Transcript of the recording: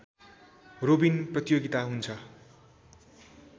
robin प्रतियोगिता हुन्छ